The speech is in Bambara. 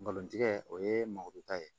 Balontigɛ o ye mɔni ta ye